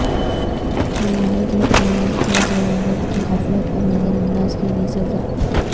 قواعد و قواعد و ضوابط کی غفلت اور نظر انداز کے لئے سزا